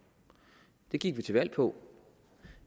det gik vi til valg på